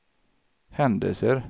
händelser